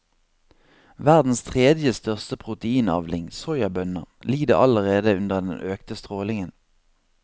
Verdens tredje største proteinavling, soyabønner, lider allerede under den økte strålingen.